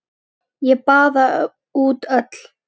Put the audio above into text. Ég baða út öll